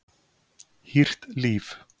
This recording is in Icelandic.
Hýrt líf